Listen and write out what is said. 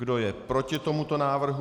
Kdo je proti tomuto návrhu?